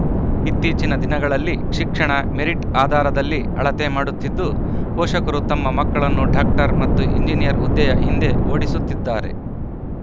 ಇತ್ತೀಚಿನ ದಿನಗಳಲ್ಲಿ ಶಿಕ್ಷಣ ಮೆರಿಟ್‌ ಆಧಾರದಲ್ಲಿ ಅಳತೆ ಮಾಡುತ್ತಿದ್ದು ಪೋಷಕರು ತಮ್ಮ ಮಕ್ಕಳನ್ನು ಡಾಕ್ಟರ್‌ ಮತ್ತು ಎಂಜಿನಿಯರ್‌ ಹುದ್ದೆಯ ಹಿಂದೆ ಓಡಿಸುತ್ತಿದ್ದಾರೆ